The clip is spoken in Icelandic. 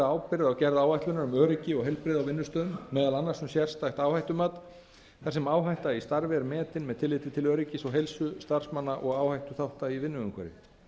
ábyrgð á gerð áætlunar um öryggi og heilbrigði á vinnustöðum meðal annars um sérstakt áhættumat þar sem áhætta í starfi er metin með tilliti til öryggis og heilsu starfsmanna og áhættuþátta í vinnuumhverfi